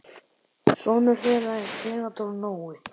Sonur þeirra er Theodór Nói.